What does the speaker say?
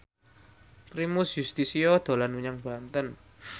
Primus Yustisio dolan menyang Banten